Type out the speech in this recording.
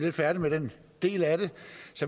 er færdige med den del af det